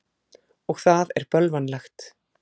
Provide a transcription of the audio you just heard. Og það er bölvanlegt.